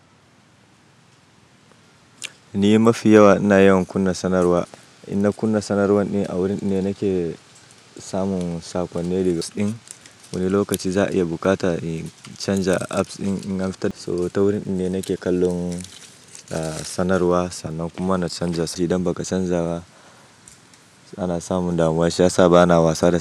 Ni mafi yawa ina yawan kunna sanarwa. Inal na kunna sanarwar ne a wurin ina nake samun sakonnin rigas ɗin. Wani lokaci za'a iya bukata in canja apps ɗin ina fita. So ta wurin din ne nake kallon sanarwa sannan kuma na canja shi idan baka canja ba ana samun damuwa shi ya sa bana wasa da shi.